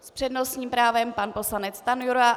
S přednostním právem pan poslanec Stanjura.